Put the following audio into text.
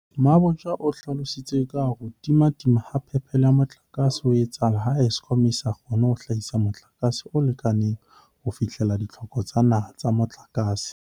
Mabotja o hlalositse ka hore ho timatima ha phepelo ya motlakase ho etsahala ha Eskom e sa kgone ho hlahisa motlakase o lekaneng ho fihlella ditlhoko tsa naha tsa motlakase.